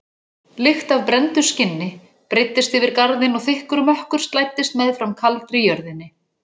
Lykt af brenndu skinni breiddist yfir garðinn og þykkur mökkur slæddist meðfram kaldri jörðinni.